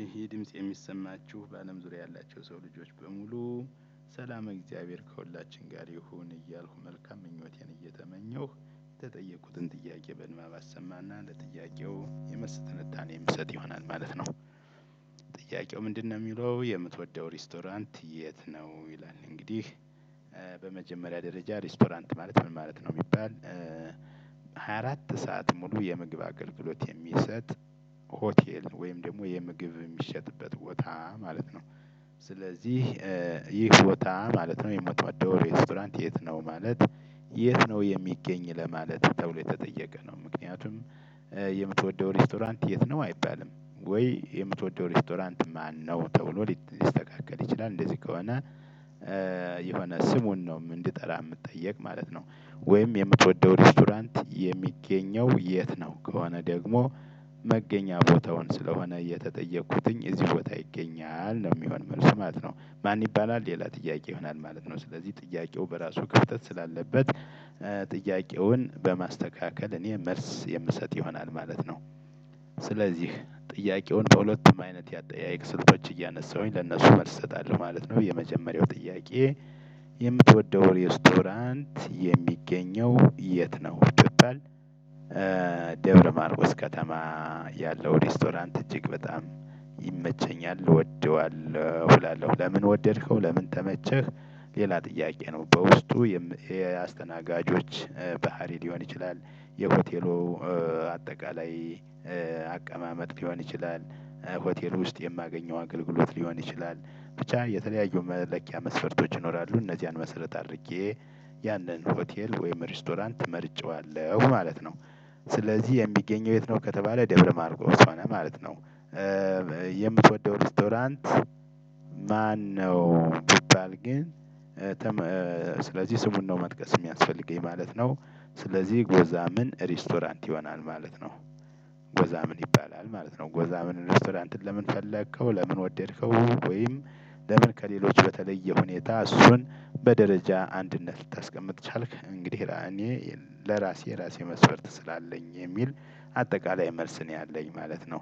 ይሄ ድምጽ የሚሰማችሁ በአለም ዙሪያ ያላችሁ የሰው ልጆች በሙሉ ሰላመ እግዚአብሔር ከሁላችን ጋር ይሁን እያልኩ መልካም ምኞቴን እየተመኘሁ የተጠየቁትን ጥያቄ በንባብ አሰማና ለጥያቄው የመልስ ትንታኔ የምሰጥ ይሆናል ማለት ነው። ጥያቄው ምንድነው? የሚለው የምትወደው ሬስቶራንት የት ነው ይላል እንግዲህ በመጀመሪያ ደረጃ ሬስቶራንት ማለት ምን ማለት ነው ቢባል? ሃያ አራት ሰዓት ሙሉ የምግብ አገልግሎት የሚሰጥ ሆቴል ወይም ደግሞ የምግብ የሚሸጥበት ቦታ ማለት ነው። ስለዚህ ይህ ቦታ ማለት ነው የምትወደው ሬስቶራንት የት ነው ማለት? የት ነው የሚገኝ ለማለት ተብሎ የተጠየቀ ነው። ምክንያቱም የምትወደው ሬስቶራንት የት ነው አይባልም። ወይ የምትወደው ሬስቶራንት ማነው ተብሎ ሊስተካከል ይችላል። እንደዚህ ከሆነ የሆነ ስሙን ነው እንድጠራ የምትጠየቅ ማለት ነው። ወይም የምትወደው ሬስቶራንት የሚገኘው የት ነው ከሆነ ደግሞ። መገኛ ቦታውን ስለሆነ የተጠየቅኩትኝ እዚህ ቦታ ይገኛል ነው የሚሆን መልስ ማለት ነው። ማን ይባላል ሌላ ጥያቄ ይሆናል ማለት ነው። ስለዚህ ጥያቄው በራሱ ክፍተት ስላለበት ጥያቄውን በማስተካከል እኔ መልስ የምሰጥ ይሆናል ማለት ነው። ስለዚህ ጥያቄውን በሁለትም አይነት የአጠያየቅ ስልቶች እያነሳሁኝ ለእነሱ መልስ እሰጣለሁ ማለት ነው። የመጀመሪያው ጥያቄ። የምትወደው ሬስቶራንት የሚገኘው የት ነው ብትባል? ደብረ ማርቆስ ከተማ ያለው ሬስቶራንት እጅግ በጣም ይመቸኛል እወደዋለሁ እላለሁ። ለምን ወደድከው ለምን ተመቸህ? ሌላ ጥያቄ ነው። በውስጡ የአስተናጋጆች ባህሪ ሊሆን ይችላል። የሆቴሉ አጠቃላይ አቀማመጥ ሊሆን ይችላል። ሆቴሉ ውስጥ የማገኘው አገልግሎት ሊሆን ይችላል። ብቻ የተለያዩ መለኪያ መስፈርቶች ይኖራሉ እነዚያን መሰረት አድርጌ ያንን ሆቴል ወይም ሬስቶራንት መርጨዋለሁ ማለት ነው። ስለዚህ የሚገኘው የት ነው ከተባለ ደብረ ማርቆስ ሆነ ማለት ነው። የምትወደው ሬስቶራንት ማነው? ቢባል ግን ስለዚህ ስሙን ነው መጥቀስ የሚያስፈልገኝ ማለት ነው። ስለዚህ ጎዛምን ሬስቶራንት ይሆናል ማለት ነው። ጎዛምን ይባላል ማለት ነው። ጎዛምን ሬስቶራንት ለምን ፈለከው ለምን ወደድከው? ወይም ለምን ከሌሎች በተለዬ ሁኔታ እሱን? በደረጃ አንድነት ልታስቀምጥ ቻልክ እንግዲህ እኔ ለራሴ የራሴ መስፈርት ስላለኝ የሚል አጠቃላይ መልስ ነው ያለኝ ማለት ነው።